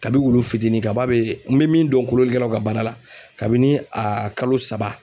Kabi wulu fitinin kaba be n be min dɔn kolonlikɛlaw ka baara la kabini a kalo saba